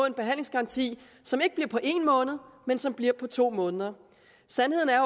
en behandlingsgaranti som ikke bliver på en måned men som bliver på to måneder sandheden er